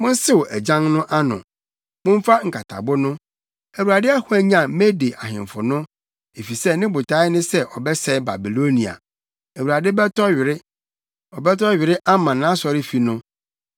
“Monsew agyan no ano! Momfa nkatabo no! Awurade ahwanyan Mede ahemfo no, efisɛ ne botae ne sɛ ɔbɛsɛe Babilonia. Awurade bɛtɔ were, ɔbɛtɔ were ama nʼasɔrefi no.